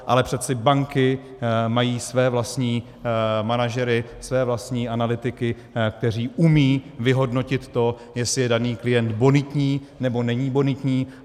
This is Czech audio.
Ale přeci banky mají své vlastní manažery, své vlastní analytiky, kteří umí vyhodnotit to, jestli je daný klient bonitní, nebo není bonitní.